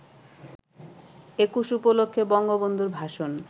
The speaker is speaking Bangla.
একুশ উপলক্ষে বঙ্গবন্ধুর ভাষণ